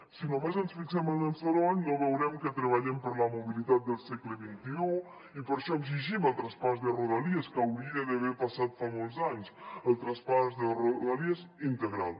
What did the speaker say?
si només ens fixem en el soroll no veurem que treballem per la mobilitat del segle xxi i per això exigim el traspàs de rodalies que hauria d’haver passat fa molts anys el traspàs de rodalies integral